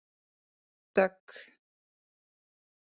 Dögg